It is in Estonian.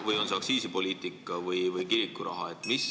Või on see aktsiisipoliitika või kirikuraha eelnõu?